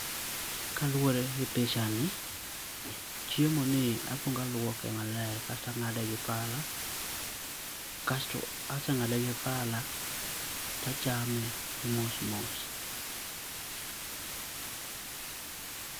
Ka luore gi picha ni chiemo ni akwongo alwuoke maler asto a ngade gi pala kasto ka ase ngade gi pala to achame mos mos.